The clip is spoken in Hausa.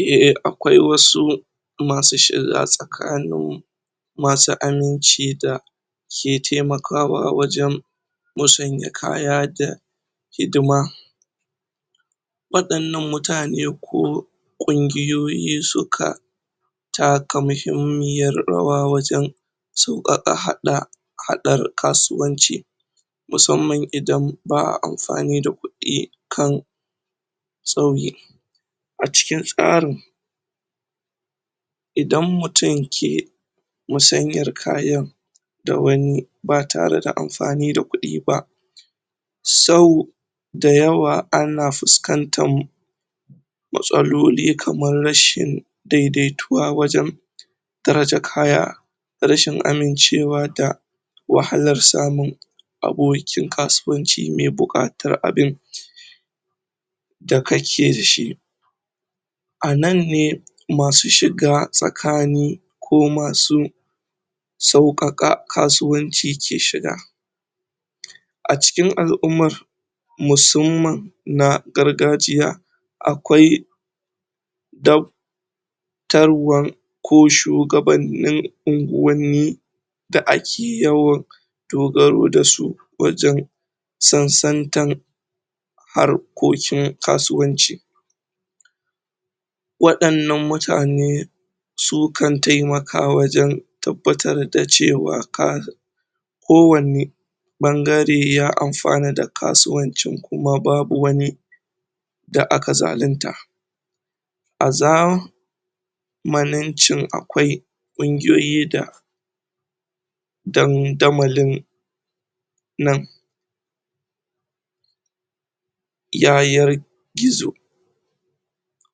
Eh akwai wasu masu shiga tsakanin masu aminci da ke temakawa a wajen masanya kaya da hdima wadannan mutane ko kungiyoyi su ka taka muhimmiyar rawa wajen sauka ka hada hadar kasuwanci musamman idan ba'a amfani da kudi kan acikin tsarin idan mutum ke musanyar kaya da wani ba tare da amfani da kudi ba sau dayawa ana fuskantan matsaloli kamar rashin daidaituwa wajen darajar kaya da rashin amincewa da wahalar samu a goyokin kasuwanci me bukatar abin da ka ke dashi a nan ne, masu shiga tsakanin ko masu saukaka kasuwanci ke shiga. A cikin al'ummar musamman na gargajiya akwai dab taruwan ko shugabanin ungwani da ake yawan dogaru da su wajen sun san kan harkokin kasuwanci wadannan mutane su kan taimaka wajen tabbatar da cewa ka ko wane bangare ya amfana da kasuwancin kuma babu wani da aka zalinta a za maninci akwai kunguyoyi da dan damalin nan yayar gizo